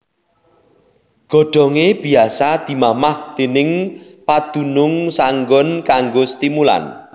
Godhongé biasa dimamah déning padunung saenggon kanggo stimulan